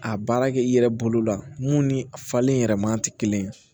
A baara kɛ i yɛrɛ bolo la mun ni a falen yɛrɛ maa tɛ kelen ye